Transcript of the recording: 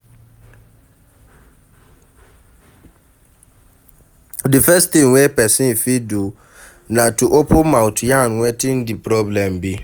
The first thing wey person fit do na to open mouth yarn wetin di problem be